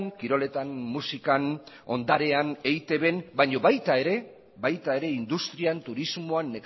kiroletan musikan ondarean eitbn baina baita ere industrian turismoan